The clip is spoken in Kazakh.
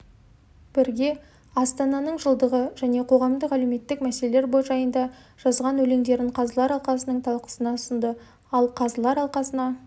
бірге астананың жылдығы жәнеқоғамдық-әлеуметтік мәселелер жайында жазған өлеңдерін қазылар алқасының талқысына ұсынды ал қазылар алқасына